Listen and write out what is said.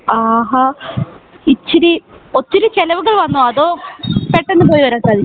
ആഹാ ഇച്ചിരി ഒത്തിരി ചെലവുകൾ വന്നോ അതോ പെട്ടന്ന് പോയി വരാൻ സാധിച്ചോ